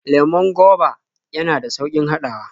Lemon goba yana da sauƙin haɗawa.